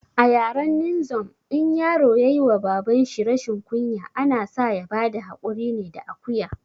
A yaren ninzom in yaro yayi wa baban shi rashin kunya, ana sa ya bada haƙuri ne da akuya